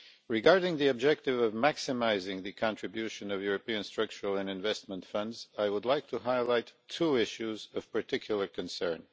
Regarding the objective of maximising the contribution of European Structural and Investment Funds, I would like to highlight two issues of particular concern.